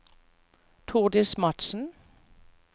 Tordis Madsen